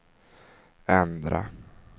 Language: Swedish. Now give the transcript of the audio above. ändra